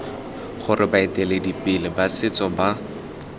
gore baeteledipele ba setso ba